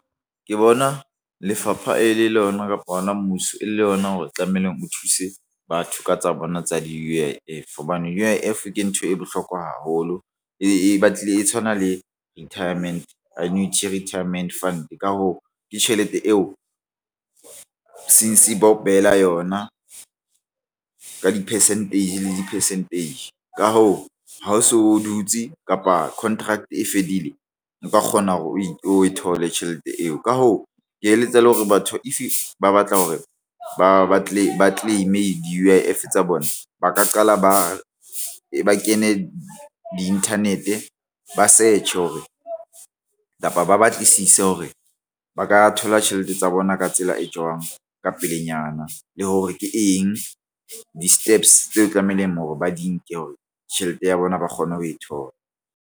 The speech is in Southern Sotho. Ke bona lefapha e le yona kapa hona mmuso e le yona hore tlamehileng o thuse batho ka tsa bona tsa di-U_I_F hobane U_I_F ke ntho e bohlokwa haholo e batlile e tshwana le retirement annuity retirement fund. Ka hoo ke tjhelete eo since ba o behela yona ka di-percentage le di-percentage. Ka hoo, ha o so o dutse kapa contract e fedile. Nka kgona hore o thole tjhelete eo la hoo ke eletsa le hore batho If ba batla hore ba batle ba claim e di-U_I_F tsa bona ba ka qala ba ba kene di-internet ba search hore kapa ba batlisise hore ba ka thola tjhelete tsa bona ka tsela e jwang ka pelenyana le hore ke eng di-steps tseo tlamehileng hore ba di nke hore tjhelete ya bona ba kgone ho e thola.